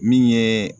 Min ye